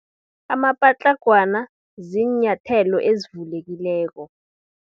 Amapatlagwana, ziinyathelo ezivulekileko.